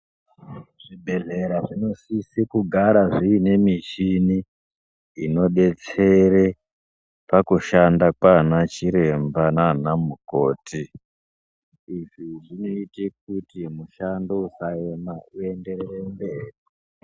Zvibhedhlera zvinosise kugara zviine michini inobetsere pakushanda kwana chiremba nanamukoti. Izvi zvinoite kuti mushando usaema uenderere mberi.